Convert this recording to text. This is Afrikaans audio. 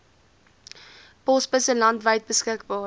posbusse landwyd beskikbaar